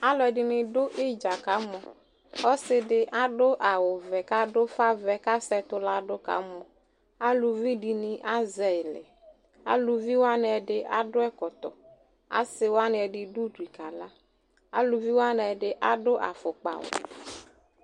alɔdini du idja ku aka mɔn ɔsidi adu awuʋɛ ufaʋɛ ku ese ɛtu lɛ aluvi dini azɛ lɛ aluvi ɛdini adu afɔkpa